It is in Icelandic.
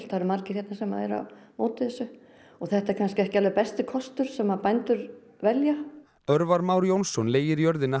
eru margir hérna sem eru á móti þessu og þetta er kannski ekki alveg besti kostur sem bændur velja Már Jónsson leigir jörðina